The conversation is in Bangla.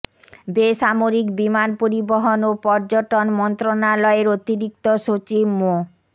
বেসামরিক বিমান পরিবহন ও পর্যটন মন্ত্রণালয়ের অতিরিক্ত সচিব মো